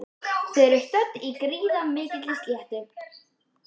Þau eru stödd á gríðarmikilli sléttu.